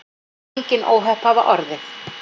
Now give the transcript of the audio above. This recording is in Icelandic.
Engin óhöpp hafa orðið